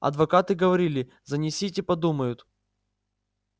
адвокаты говорили занесите подумают